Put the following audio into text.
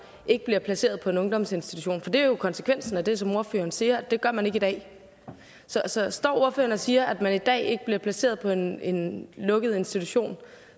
ikke bliver placeret på en ungdomsinstitution for det er jo konsekvensen af det som ordføreren siger at det gør man ikke i dag så så står ordføreren og siger at man i dag ikke bliver placeret på en en lukket institution